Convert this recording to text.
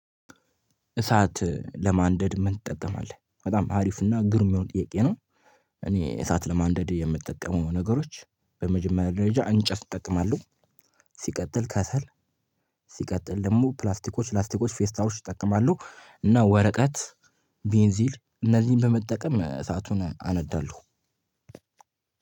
እሳት ለማንደድ ምን ትጠቀማለህ? በጣም አሪፍ እና ግሩም የሆነ ጥያቄ ነው። እኔ እሳት ለማንደድ የምጠቀመው ነገሮች፣ በመጀመሪያ ደረጃ እንጨት እጠቀማለሁ፣ ሲቀጥል ከሰል ሲቀጥል ደግሞ ፕላስቲኮች፣ ላስቲኮች፣ ፌስታሎች እጠቀማለው እና ወረቀት ቤንዚል እነዚህን በመጠቀም እሳቱን አነዳለሁ።